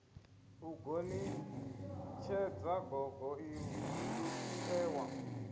u gonitshedza gogo ie wa